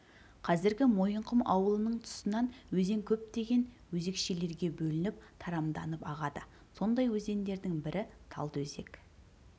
қазіргі мойынқұм ауылының тұсынан өзен көптеген өзекшелерге бөлініп тарамданып ағады сондай өзендердің бірі талдыөзек